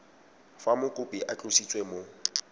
fa mokopi a tlositswe mo